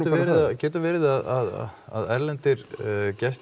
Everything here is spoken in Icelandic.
getur verið að erlendir gestir